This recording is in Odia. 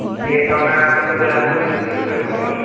ଯେ ନନା ଆସିବେ ବୋଲି, ଆମକୁ ନେଇକରି ଯିବେ କହି କରି